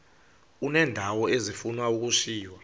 uneendawo ezifuna ukushiywa